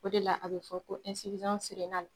O de la a bɛ fɔ ko